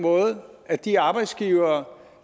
måde at de arbejdsgivere